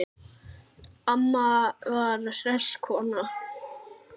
Amma var hress kona.